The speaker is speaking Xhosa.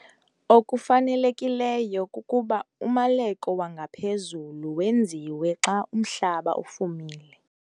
Okufanelekileyo kukuba umaleko wangaphezulu wenziwe xa umhlaba ufumile.